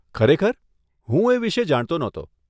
ખરેખર? હું એ વિષે જાણતો નહોતો.